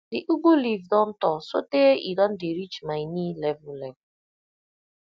the ugu leaf don tall sotey e don dey reach my knee level level